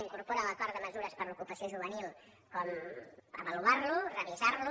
incorpora a l’acord de mesures per a l’ocupació juvenil com avaluar lo revisar lo